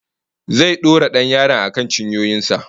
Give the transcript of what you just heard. Zai dora dan yaron akan cinyoyin sa